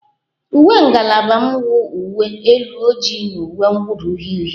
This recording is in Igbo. Uwe ngalaba m nụ uwe elu ojii na uwe mwuda uhie uhie